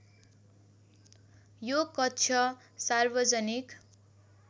यो कक्ष सार्वजनिक